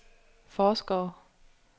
forskere